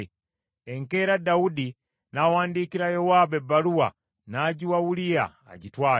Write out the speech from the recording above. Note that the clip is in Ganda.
Enkeera Dawudi n’awandiikira Yowaabu ebbaluwa n’agiwa Uliya agitwale.